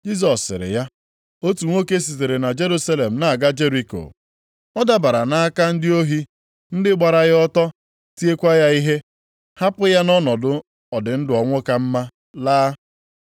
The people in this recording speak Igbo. Jisọs sịrị ya, “Otu nwoke sitere Jerusalem na-aga Jeriko, ọ dabara nʼaka ndị ohi, ndị gbara ya ọtọ, tiekwa ya ihe, hapụ ya nʼọnọdụ ọdịndụ-ọnwụkamma laa.